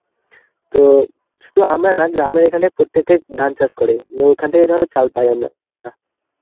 তো শুধু আমরা না গ্রামের এখানে প্রত্যেকে ধান চাষ করে. ওইখান থেকে ধরো চাল পাই আমরা.